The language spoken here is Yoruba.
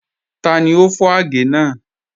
Tani o fọ agẹ̀ naa?